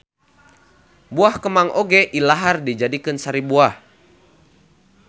Buah kemang oge ilahar dijadikeun sari buah